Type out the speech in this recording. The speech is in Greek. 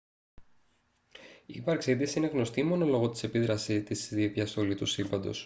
η ύπαρξή της είναι γνωστή μόνο λόγω της επίδρασής της στη διαστολή του σύμπαντος